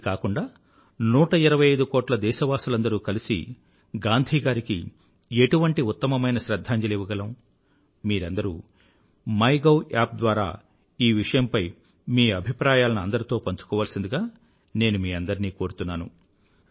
ఇది కాకుండా 125కోట్ల దేశవాసులందరూ కలిసి గాంధీ గారికి ఎటువంటి ఉత్తమమైన శ్రధ్ధాంజలి ఇవ్వగలం మీరందరూ మై గౌ యాప్ ద్వారా ఈ విషయంపై మీ అభిప్రాయాలను అందరితో పంచుకోవాల్సిందిగా నేను మీ అందరినీ కోరుతున్నాను